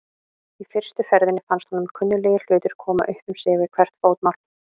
Í fyrstu ferðinni fannst honum kunnuglegir hlutir koma upp um sig við hvert fótmál.